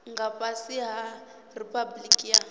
nga fhasi ha riphabuliki ya